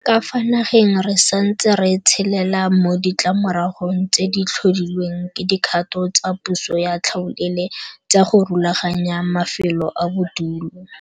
Ka fa nageng re santse re tshelela mo ditlamoragong tse di tlhodilweng ke dikgato tsa puso ya tlhaolele tsa go rulaganya mafelo a bodulo.